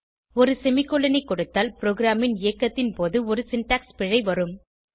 ஒரு செமிகோலன் ஐ கொடுத்தால் ப்ரோகிராமின் இயக்கத்தின் போது ஒரு சின்டாக்ஸ் பிழை வரும்